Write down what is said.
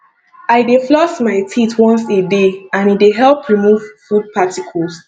i dey floss my teeth once a day and e dey help remove food particles